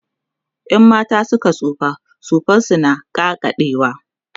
in mata Suka tsufa suman su na ƙaƙaɗewa